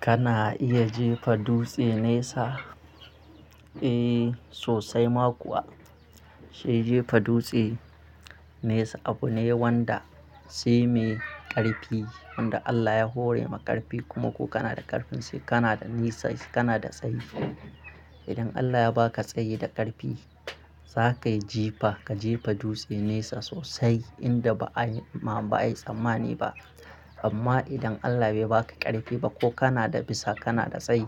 Kana iya jefa dutse nesa? Eh sosai ma kuwa, shi jefa dutse nesa abu ne wanda sai mai ƙarfi wanda Allah ya hore ma ƙarfi kuma ko kana da ƙarfin sai kana da nisa sai kana da tsayi. Idan Allah ya ba ka tsayi da ƙarfi za kai jifa ka jefa dutse nesa sosai inda ba a yi ma ba a yi tsammani ba. Amma idan Allah bai ba ka ƙarfi ba ko kana da bisa kana da tsayi